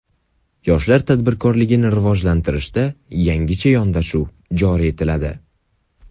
Yoshlar tadbirkorligini rivojlantirishda yangicha yondashuv joriy etiladi.